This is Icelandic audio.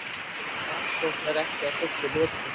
Rannsókn er ekki að fullu lokið